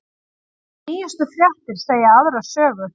Nýjustu fréttir segja aðra sögu